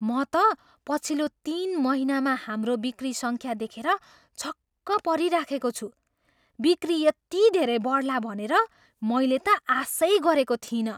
म त पछिल्लो तिन महिनामा हाम्रो बिक्री सङ्ख्या देखेर छक्क परिराखेको छु। बिक्री यति धेरै बढ्ला भनेर मैले त आशै गरेको थिइनँ।